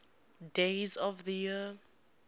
days of the year